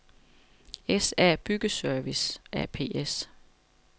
SA Byggeservice ApS